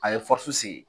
A ye se